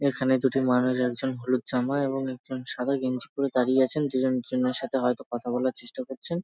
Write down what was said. এখানে দুটি মানুষ আছেন হলুদ জামা এবং একজন সাদা গেঞ্জি পরে দাঁড়িয়ে আছেন দুই জন দুই জনের সাথে হয় তো কথা বলার চেষ্টা করছেন।